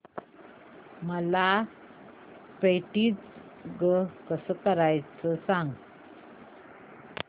मला पेंटिंग कसं करायचं सांग